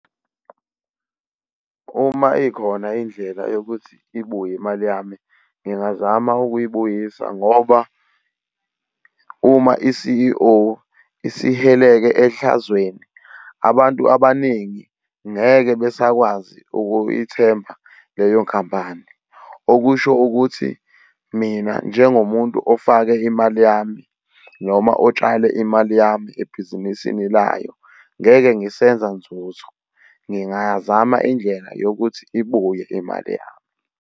Uma ikhona indlela yokuthi ibuye imali yami, ngingazama ukuyibuyisa ngoba uma i-C_E_O isihileke ehlazweni, abantu abaningi ngeke besakwazi ukuyithemba leyo khampani, okusho ukuthi mina njengomuntu ofake imali yami noma otshale imali yami ebhizinisini layo ngeke ngisenza nzuzo. Ngingazama indlela yokuthi ibuye imali yami.